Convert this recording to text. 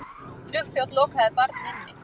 Flugþjónn lokaði barn inni